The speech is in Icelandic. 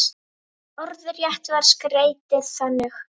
Orðrétt var skeytið þannig